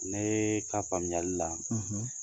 Ne ka faamuyali la